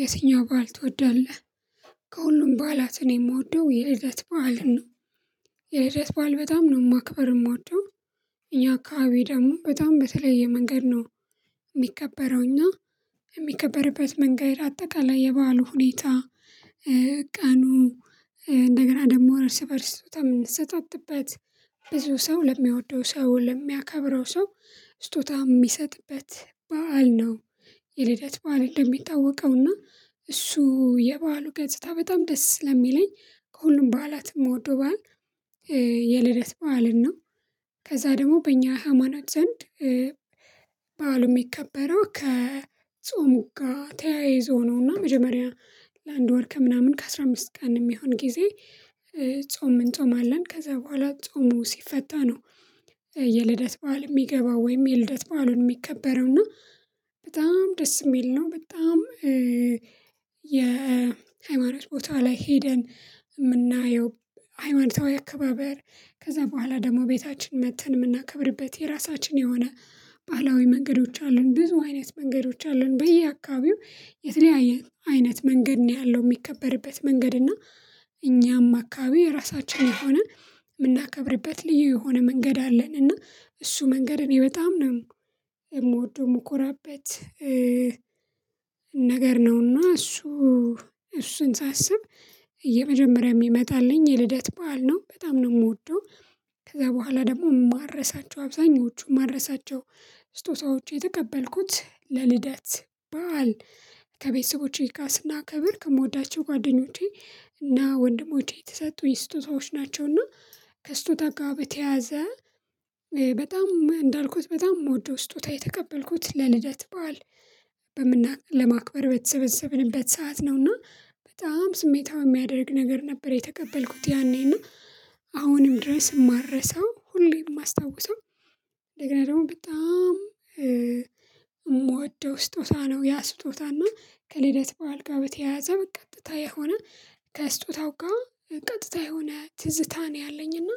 የትኛውን በዓል ትወዳለህ? ከሁሉም በዓላት እኔ የምወደው የልደት በዓል ነው። የልደት በዓል በጣም ነው ማክበርም እምወደው። እኛ አካባቢ ደግሞ በጣም በተለየ መንገድ ነው የሚከበረው። እኛ የሚከበርበት መንገድ አጠቃላይ የባህሉ ሁኔታ፣ ቀኑ እንደገና ደግሞ እርስ በእርስ ስጦታ የምንሰጣጥበት፣ ብዙ ሰው ለሚያወደው ሰው ለሚያከብረው ሰው ስጦታ የሚሰጥበት በዓል ነው። የልደት በዓል እንደሚታወቀው እና እሱ የበአሉ ገጽታ በጣም ደስ ስለሚለኝ ከሁሉም በዓላት ከምወደው በዓል የልደት በዓልን ነው። ከዛ ደግሞ በእኛ ሃይማኖት ዘንድ በዓሉ የሚከበረው ከጾም ጋር ተያይዞ ነው። እና መጀመሪያ ለአንድ ወር ከምናምን ከአሥራ አምስት ቀን የሚሆን ጊዜ ጾም እንጾማለን ከዛ በኋላ ጾሙ ሲፈታ ነው የልደት በዓል የሚገባው ወይም የልደት በዓል የሚከበረው። እና በጣም ደስ የሚል ነው በጣም የሃይማኖት ቦታ ላይ ሄደን የምናየው። ሃይማኖታዊ አከባበር ከዛ በኋላ ደግሞ ቤታችን መጥተን የምናከብርበት የራሳችን የሆነ ባህላዊ መንገዶች አሉን። ብዙ አይነት መንገዶች አሉን በየአካባቢው የተለያየ አይነት መንገድ ነው ያለው የሚከበርበት መንገድ። እና እኛም አካባቢ የራሳችን የሆነ የምናከብርበት ልዩ የሆነ መንገድ አለን። እና እሱ መንገድ እኔ በጣም ነው የምወደው የምኮራበት። በዓሉ የሚከበረው ከጾም ጋር ተያይዞ ነው። እና መጀመሪያ ለአንድ ወር ከምናምን ከአሥራ አምስት ቀን የሚሆን ጊዜ እሱን ሳስብ የመጀመሪያ የሚመጣልኝ የልደት በዓል ነው። በጣም ነው የምወደው። ከዛ በኋላ ደግሞ የማረሳቸው አብዛኞቹ የማረሳቸው ስጦታዎች የተቀበልኩት ለልደት በዓል ከቤተሰቦቼ ጋር ካስናከብር ከምወዳቸው ጓደኞቼ እና ወንድሞቼ የተሰጡኝ ስጦታዎች ናቸው። እና ከስጦታ ጋር በተያዘ በጣም እንዳልኩት በጣም የምወደው ስጦታ የተቀበልኩት ለልደት በዓል ለማክበር በተሰበሰብንበት ሰዓት ነውና በጣም ስሜታዊ የሚያደርግ ነገር ነበር። የተቀበልኩት ያኔና አሁንም ድረስ የማረሳው ሁሌም የማስታውሰው እንደገና ደግሞ በጣም የምወደው ስጦታ ነው። ያ ስጦታና ከልደት በዓል ጋረ በተያያዘ በቀጥታ የሆነ ከስጦታው ጋር ቀጥታ የሆነ ትዝታ ነው ያለኝ እና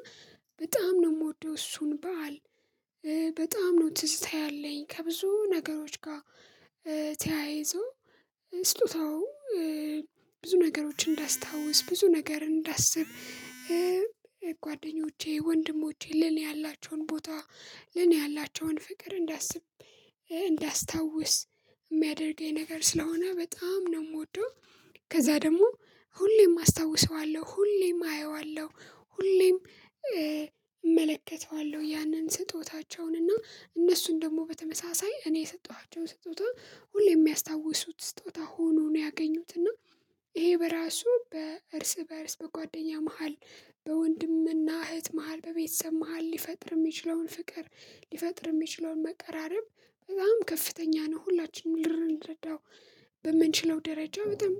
በጣም ነው የምወደው እሱን በዓል። በጣም ነው ትዝታ ያለኝ። ከብዙ ነገሮች ጋር ተያይዞ ስጦታው ብዙ ነገሮችን እንዳስታውስ ብዙ ነገር እንዳስብ ጓደኞቼ፣ ወንድሞቼ ለኔ ያላቸውን ቦታ ለኔ ያላቸውን ፍቅር እንዳስብ እንዳስታውስ የሚያደርገኝ ነገር ስለሆነ በጣም ነው የምወደው። ከዛ ደግሞ ሁሌም አስታውሰዋለሁ፣ ሁሌም አየዋለሁ፣ ሁሌም እመለከተዋለሁ። ያንን ስጦታቸውን እና እነሱን ደግሞ በተመሳሳይ እኔ የሰጠኋቸውን ስጦታ ሁሌ የሚያስታውሱት ስጦታ ሆኖ ነው ያገኙት። እና ይሄ በራሱ በእርስ በእርስ በጓደኛ መሃል በወንድምና እህት መሃል በቤተሰብ መሃል ሊፈጥር የሚችለውን ፍቅር ሊፈጥር የሚችለውን መቃረብ በጣም ከፍተኛ ነው። ሁላችንም ልረዳው በምንችለው ደረጃ በጣም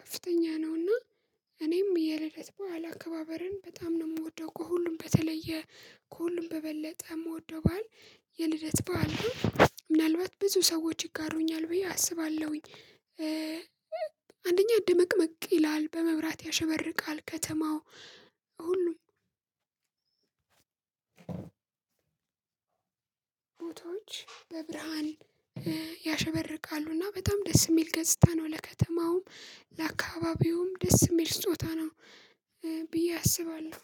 ከፍተኛ ነው። ና እኔም የልደት በዓል አከባበርን በጣም ነው የምወደው። ከሁሉም በተለየ ከሁሉም በበለጠ የምወደው በዓል የልደት በዓል ነው። ምናልባት ብዙ ሰዎች ይጋሩኛል ብዬ አስባለሁኝ። አንደኛ ድምቅምቅ ይላል፣ በመብራት ያሸበርቃል፣ ከተማው ሁሉም ፎቶዎች በብርሃን ያሸበርቃሉ። እና በጣም ደስ የሚል ገጽታ ነው። ለከተማውም ለአካባቢውም ደስ የሚል ስጦታ ነው ብዬ አስባለሁ።